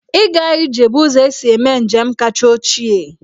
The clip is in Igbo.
Ịga ije bụ ụzọ e si eme njem kacha ochie.